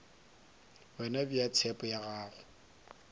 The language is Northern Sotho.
wena bea tshepo ya gago